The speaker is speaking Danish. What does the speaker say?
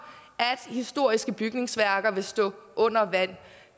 historiske bygningsværker vil stå under vand det